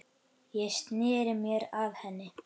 Ég sneri mér að henni.